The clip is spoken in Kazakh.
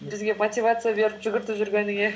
бізге мотивация беріп жүгіртіп жүргеніңе